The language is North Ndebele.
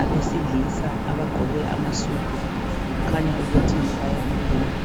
abesilisa kukhanya ukuthi kuyakhulunywa.